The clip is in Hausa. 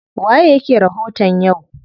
Waye yake rahoton yau?